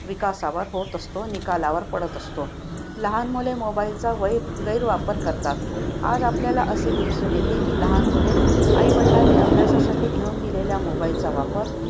विकासावर होत असतो, निकालावर पडत असतो. लहान मुले mobile चा वाईट गैरवापर करतात. आज आपल्याला असे दिसून येते की लहान मुले आई-वडिलांनी अभ्यासासाठी घेऊन दिलेल्या mobile चा वापर